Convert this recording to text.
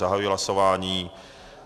Zahajuji hlasování.